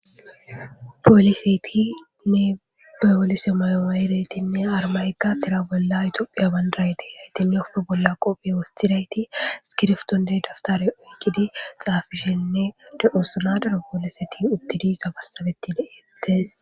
Poolisetinne bayolise mayooma yeretinne armaykka tira bolla itoophiya bandarayde haytinne oppe bolla qophiye wostidayti skirftonde daftare oykidi xaafishenne de osanadara pooleseti uttidi sabassabeti deettes